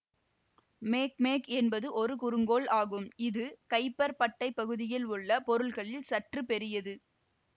மேக்மேக் என்பது ஒரு குறுங்கோள் ஆகும் இது கைப்பர் பட்டை பகுதியில் உள்ள பொருள்களில் சற்று பெரியது